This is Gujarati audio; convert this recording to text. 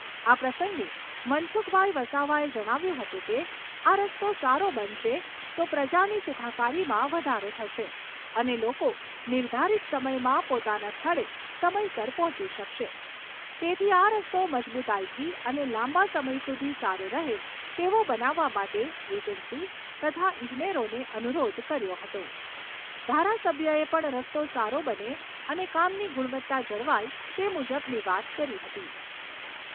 આ પ્રસંગે મનસુખભાઈ વસાવાએ જણાવ્યું હતું કે આ રસ્તો સારો બનશે તો પ્રજાની સુખાકારીમાં વધારો થશે અને લોકો નિર્ધારિત સમયમાં પોતાના સ્થળે સમયસર પહોંચી શકશે. તેથી આ રસ્તો મજબૂતાઈથી અને લાંબા સમય સુધી સારો રહે તેવો બનાવવા માટે એજન્સી તથા ઈજનેરોને અનુરોધ કર્યો હતો. ધારાસભ્યએ પણ રસ્તો સારો બને અને કામની ગુણવત્તા જળવાય તે મુજબની વાત કરી હતી